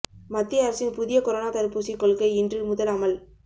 மத்திய அரசின் புதிய கொரோனா தடுப்பூசி கொள்கை இன்று முதல் அமல்